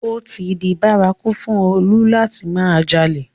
Ó ti di bárakú fún Olú láti máa jalè